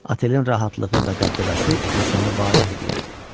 Otelin rahatlığı və dəbdəbəsi insanı valeh eləyirdi.